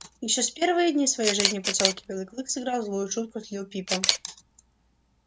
ещё в первые дни своей жизни в посёлке белый клык сыграл злую шутку с лип пипом